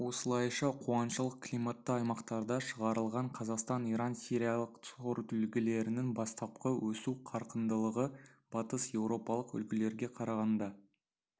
осылайша куаңшылық климатты аймақтарда шығарылған қазақстан иран сириялық сортүлгілерінің бастапқы өсу қарқындылығы батыс еуропалық үлгілерге қарағанда